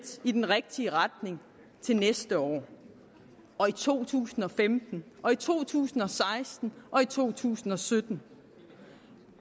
i den rigtige retning til næste år og i to tusind og femten og i to tusind og seksten og i to tusind og sytten